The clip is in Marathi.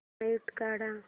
म्यूट काढ